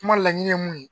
Kuma laɲini ye mun ye